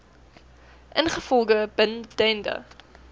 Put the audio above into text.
ingevolge bin dende